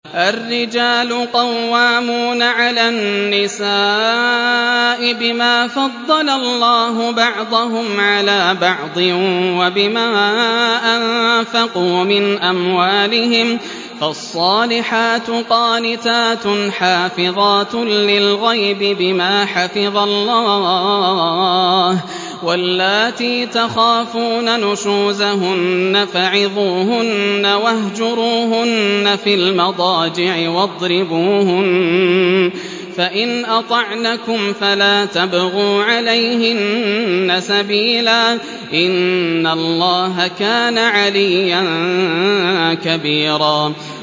الرِّجَالُ قَوَّامُونَ عَلَى النِّسَاءِ بِمَا فَضَّلَ اللَّهُ بَعْضَهُمْ عَلَىٰ بَعْضٍ وَبِمَا أَنفَقُوا مِنْ أَمْوَالِهِمْ ۚ فَالصَّالِحَاتُ قَانِتَاتٌ حَافِظَاتٌ لِّلْغَيْبِ بِمَا حَفِظَ اللَّهُ ۚ وَاللَّاتِي تَخَافُونَ نُشُوزَهُنَّ فَعِظُوهُنَّ وَاهْجُرُوهُنَّ فِي الْمَضَاجِعِ وَاضْرِبُوهُنَّ ۖ فَإِنْ أَطَعْنَكُمْ فَلَا تَبْغُوا عَلَيْهِنَّ سَبِيلًا ۗ إِنَّ اللَّهَ كَانَ عَلِيًّا كَبِيرًا